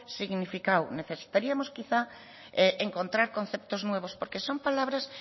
significado necesitaríamos quizá encontrar conceptos nuevos porque son palabras